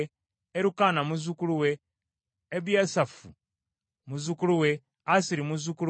Erukaana muzzukulu we, Ebiyasaafu muzzukulu we, Assiri muzzukulu we;